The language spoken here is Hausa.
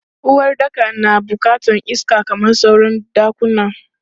Uwaɗɗaka na bukatan iska kamar sauran ɗakuna.